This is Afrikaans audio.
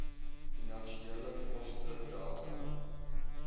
finansiële koste delging